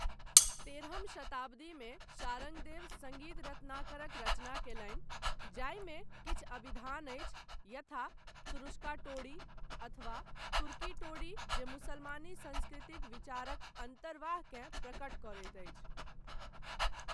तेरहम शताब्दीमे शारङ्गदेव सङ्गीत रत्नाकरक रचना कयलनि जाहिमे किछु अभिधान अछि यथा तुरुष्का टोडी अथवा तुर्की टोडी जे मुसलमानी संस्कृतिक विचारक अन्तर्वाहकेँ प्रकट करैत अछि।